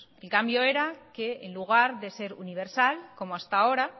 el cambio era que en lugar de ser universal como hasta ahora